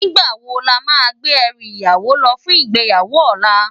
Nigbá wó lámá gbé èrú iyàwó lò fún igbéyáwó òlá?